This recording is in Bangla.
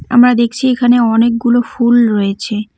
আমরা দেখছি এখানে অনেকগুলো ফুল রয়েছে।